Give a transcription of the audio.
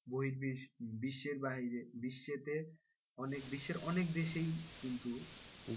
বহির্বিশ্বে বিশ্বের বাইরে বিশ্বেতে অনেক বিশ্বের অনেক দেশেই কিন্তু,